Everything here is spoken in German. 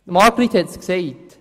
Margrit hat es gesagt: